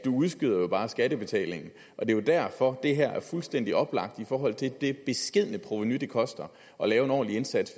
udskyder bare skattebetalingen og det er derfor at det her er fuldstændig oplagt i forhold til det beskedne provenu det koster at lave en ordentlig indsats